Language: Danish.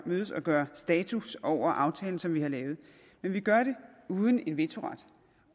mødes og gøre status over aftalen som vi har lavet men vi gør det uden en vetoret